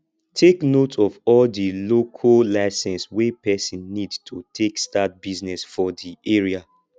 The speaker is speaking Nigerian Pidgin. take note of all di local license wey person need to take start business for di area